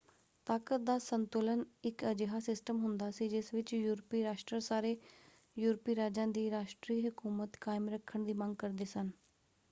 ਤਾਕਤ ਦਾ ਸੰਤੁਲਨ ਇੱਕ ਅਜਿਹਾ ਸਿਸਟਮ ਹੁੰਦਾ ਸੀ ਜਿਸ ਵਿੱਚ ਯੂਰਪੀ ਰਾਸ਼ਟਰ ਸਾਰੇ ਯੂਰਪੀ ਰਾਜਾਂ ਦੀ ਰਾਸ਼ਟਰੀ ਹਕੂਮਤ ਕਾਇਮ ਰੱਖਣ ਦੀ ਮੰਗ ਕਰਦੇ ਸਨ।